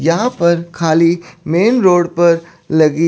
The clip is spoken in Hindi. यहां पर खाली मेन रोड पर लगी--